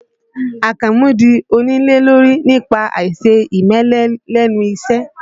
Àkànmú di onílé lórí nípa àìse ìmẹ́lẹ́ lẹ́nu iṣẹ́